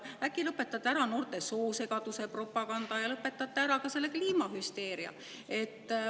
Äkki lõpetate ära noorte seas soosegaduse propaganda ja lõpetate ära ka selle kliimahüsteeria?